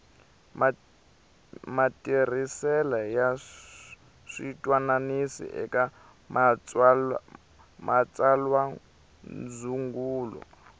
matirhisele ya switwananisi eka matsalwandzungulo